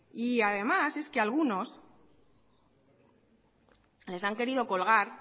y además es que algunos les han querido colgar